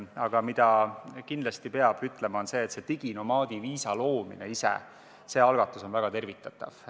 Aga mida kindlasti peab ütlema, on see, et diginomaadi viisa loomise algatus ise on väga tervitatav.